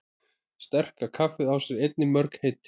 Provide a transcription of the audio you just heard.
Sterka kaffið á sér einnig mörg heiti.